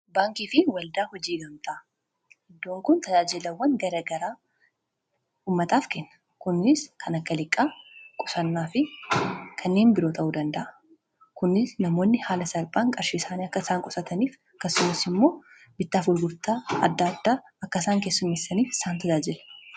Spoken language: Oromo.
baankii fi waldaa hojii gamtaa iddoon kun tajaajilawwan garagaraa ummataaf keenna kunis kan akkaliqqaa qusannaa fi kanneen biroo ta'uu danda'a kunis namoonni haala saalphaan qarshiesaanii akka isaan qusataniif kassumis immoo bittaaf ulgurtaa adda addaa akka isaan kessumissaniif saan tajaajila